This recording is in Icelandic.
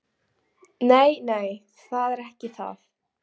Nei, nei, það er ekki það.